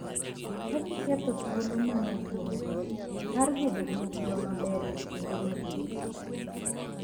Ka giketho thuolo ma ne gin-go mar bedo gi ngima maber e kinde mabiro.